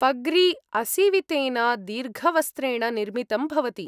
पग्री असीवितेन दीर्घवस्त्रेण निर्मितं भवति।